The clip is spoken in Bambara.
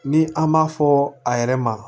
Ni an m'a fɔ a yɛrɛ ma